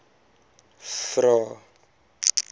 vvvvrae